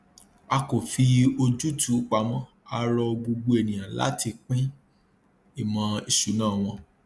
a kò fi ojútùú pamọ a rọ gbogbo ènìyàn láti pín ìmọ ìṣúná wọn